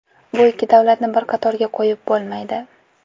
Bu ikki davlatni bir qatorga qo‘yib bo‘lmaydi.